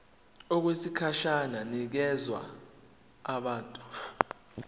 okwesikhashana inikezwa abantu